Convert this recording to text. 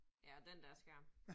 Ja, og den dér skærm